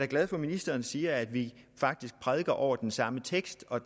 glad for at ministeren siger at vi faktisk prædiker over den samme tekst og